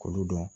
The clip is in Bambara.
K'olu dɔn